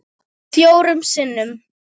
Fjórum sinnum